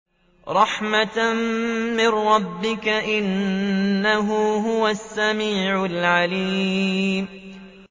رَحْمَةً مِّن رَّبِّكَ ۚ إِنَّهُ هُوَ السَّمِيعُ الْعَلِيمُ